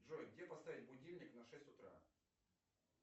джой где поставить будильник на шесть утра